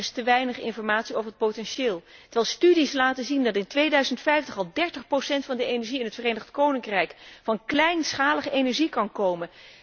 Er is te weinig informatie over het potentieel, terwijl studies laten zien dat in 2050 al 30 van de energie in het Verenigd Koninkrijk van kleinschalige energie kan komen.